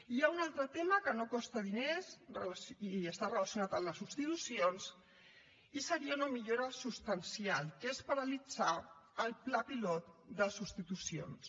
hi ha un altre tema que no costa diners i està relacionat amb les substitucions i seria una millora substancial que és paralitzar el pla pilot de substitucions